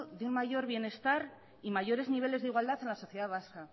de un mayor bienestar y mayores niveles de igualdad en la sociedad vasca